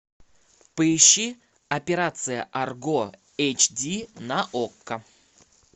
поищи операция арго эйчди на окко